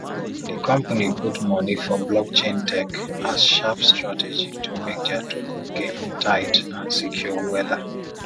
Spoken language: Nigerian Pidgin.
the company put money for blockchain tech as sharp strategy to make their token game tight and secure wella